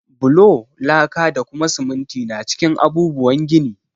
Bulo, laka, da kuma siminti na cikin abubuwan gini.